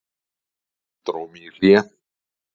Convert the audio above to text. Dró mig í hlé.